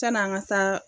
San'an ka taa